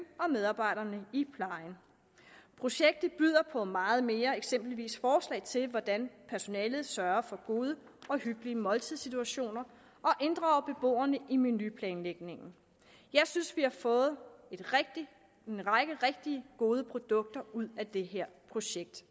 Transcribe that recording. og medarbejderne i plejen projektet byder på meget mere eksempelvis forslag til hvordan personalet sørger for gode og hyggelige måltidssituationer og inddrager beboerne i menuplanlægningen jeg synes vi har fået en række rigtig gode produkter ud af det her projekt